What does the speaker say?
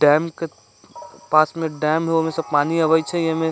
डैम के पास में डैम होमे से पानी आवइ छै एमे।